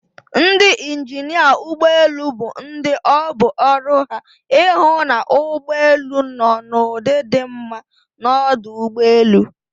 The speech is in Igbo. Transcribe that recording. Ndị injinịa ụgbọelu bụ ndị ọ bụ ọrụ ha ịhụ na ụgbọelu nọ n'ụdị di mma n'ọdụ ụgbọelu